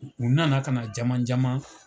U nana ka na jaman jaman.